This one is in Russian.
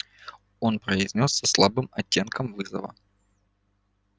он произнёс со слабым оттенком вызова